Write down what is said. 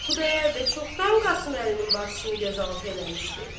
Xudayar bəy çoxdan Qasım Əlinin bacısını göz altı eləmişdi.